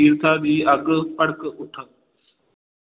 ਈਰਖਾ ਦੀ ਅੱਗ ਭੜਕ ਉੱਠਾ